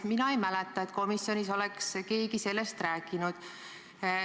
Mina ei mäleta, et komisjonis oleks keegi sellest rääkinud.